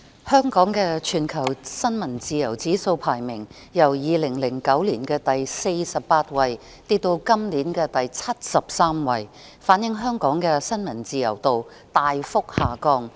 香港的全球新聞自由指數排名，由2009年的第48位跌至本年的第73位，反映香港的新聞自由度大幅下降。